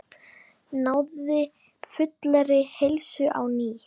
Náði fullri heilsu á ný.